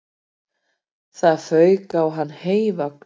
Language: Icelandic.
Það fauk á hann heyvagn